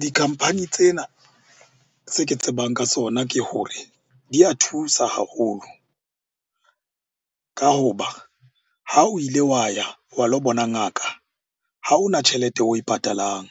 Di-company tsena tse ke tsebang ka tsona ke hore di a thusa haholo. Ka hoba ha o ile wa ya wa lo bona ngaka ha ona tjhelete oe patalang,